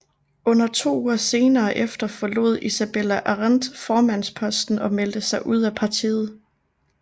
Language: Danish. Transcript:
Under to uger senere efter forlod Isabella Arendt formandsposten og meldte sig ud af partiet